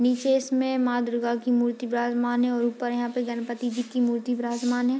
नीचे इसमें मां दुर्गा की मूर्ति विराजमान है और ऊपर यहां पे गणेश जी की मूर्ति विराजमान है।